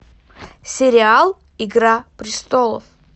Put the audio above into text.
сериал игра престолов